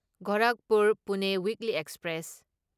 Gorakhpur Pune weekly express